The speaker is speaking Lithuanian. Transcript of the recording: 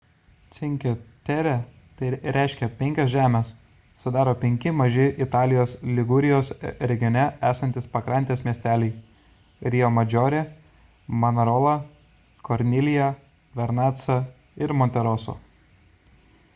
cinque terre tai reiškia penkios žemės sudaro penki maži italijos ligurijos regione esantys pakrantės miesteliai: riomadžorė manarola kornilija vernaca ir monteroso